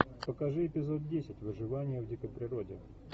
покажи эпизод десять выживание в дикой природе